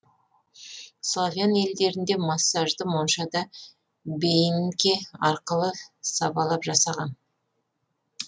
славян елдерінде массажды моншада бейнке арқылы сабалап жасаған